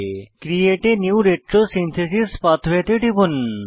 create a new retrosynthesis pathway এ টিপুন